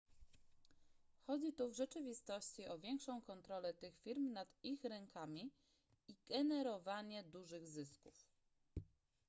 chodzi tu w rzeczywistości o większą kontrolę tych firm nad ich rynkami i generowanie dużych zysków